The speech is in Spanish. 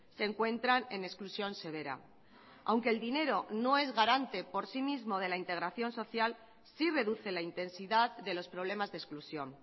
se encuentran en exclusión severa aunque el dinero no es garante por sí mismo de la integración social sí reduce la intensidad de los problemas de exclusión